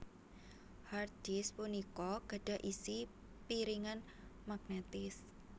Hard disk punika gadhah isi piringan magnetis